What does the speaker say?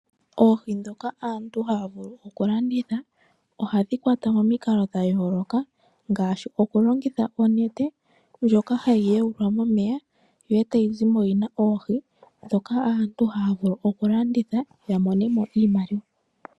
Oohi ndhoka aantu haya vulu okulanditha oha dhi kwatwa momikalo dha yooloka ngaashi okulongitha onete ndjoka hayi yawulwa momeya yo e tayi zimo yi na oohi ndhoka aantu haya vulu okulanditha ya monemo iimaliwa.